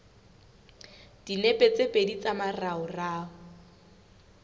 dinepe tse pedi tsa moraorao